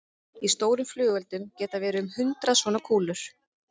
Í stórum flugeldum geta verið um hundrað svona kúlur.